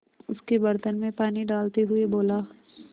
उसके बर्तन में पानी डालते हुए बोला